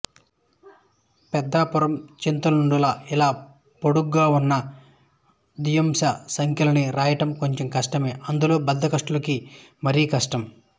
పెద్దాపురం చాంతాడులా ఇలా పొడుగ్గా ఉన్న ద్వియాంశ సంఖ్యలని రాయడం కొంచెం కష్టమే అందులో బద్ధకిష్టులకి మరీ కష్టం